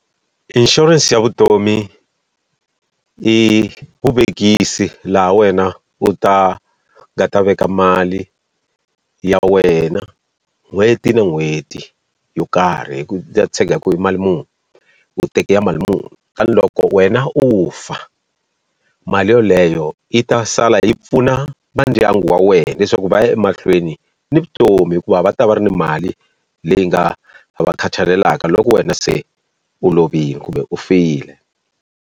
Inshurense ya vutomi, i vuvekisi laha wena u ta nga ta veka mali ya wena n'hweti na n'hweti yo karhi hi ku tshega hi ku i mali muni u tekela mali muni. Tanihi loko wena u fa, mali yoleyo yi ta sala yi pfuna va ndyangu wa wena leswaku va ya emahlweni ni vutomi hikuva va ta va ri ni mali leyi nga va khathalelaka loko wena se u lovile kumbe u file.